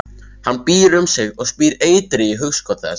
Hann býr um sig og spýr eitri í hugskot þess.